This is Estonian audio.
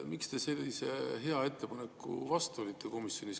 Miks te sellise hea ettepaneku vastu olite komisjonis?